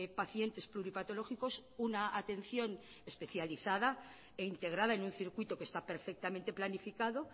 pacientes pluripatológicos una atención especializada e integrada en un circuito que está perfectamente planificado